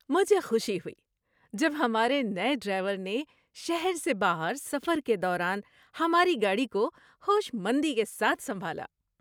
مجھے خوشی ہوئی جب ہمارے نئے ڈرائیور نے شہر سے باہر سفر کے دوران ہماری گاڑی کو ہوش مندی کے ساتھ سنبھالا۔